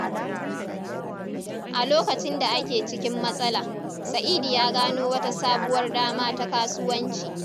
A lokacin da ake cikin matsala, Sa’idu ya gano wata sabuwar dama ta kasuwanci.